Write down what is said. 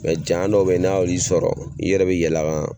Mɛ janya dɔ be n'a y'eli sɔrɔ i yɛrɛ be yɛl'a kan